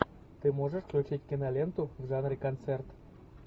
ты можешь включить киноленту в жанре концерт